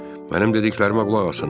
Mənim dediklərimə qulaq asın.